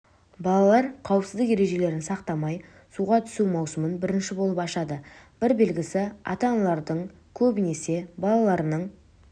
балалар қауіпсіздік ережелерін сақтамай суға түсу маусымын бірінші болып ашады бір белгілісі ата-аналардың көбінісі балаларының